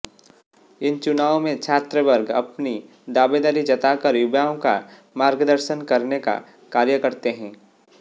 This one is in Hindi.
इन चुनावों में छात्रवर्ग अपनी दावेदारी जताकर युवाओं का मार्गदर्शन करने का कार्य करते हैं